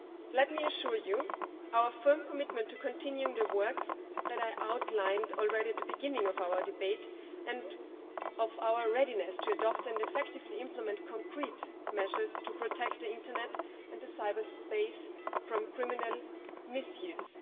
Let me assure you of our firm commitment to continuing the work that I outlined already at the beginning of our debate and of our readiness to adopt and effectively implement concrete measures to protect the internet and the cyberspace from criminal misuse.